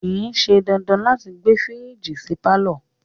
Kìí ṣe dandan láti gbé fírìjì sí pàlọ́